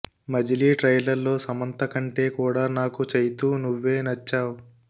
మజిలీ trailer లో సమంత కంటే కూడా నాకు చైతూ నువ్వే నచ్చావ్